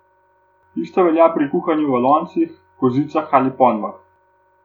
Isto velja pri kuhanju v loncih, kozicah ali ponvah.